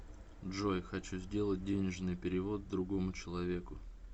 джой хочу сделать денежный перевод другому человеку